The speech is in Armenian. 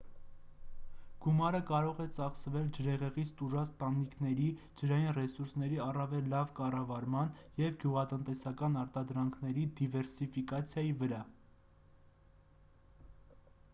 գումարը կարող է ծախսվել ջրհեղեղից տուժած տանիքների ջրային ռեսուրսների առավել լավ կառավարման և գյուղատնտեսական արտադրանքների դիվերսիֆիկացիայի վրա